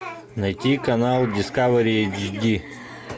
найти канал дискавери эйч ди